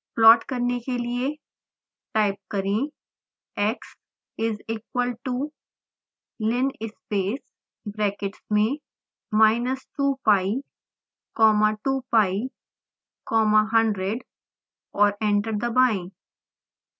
plot करने के लिए टाइप करें x is equal to linspace brackets में minus 2pi comma 2pi comma 100 और एंटर दबाएं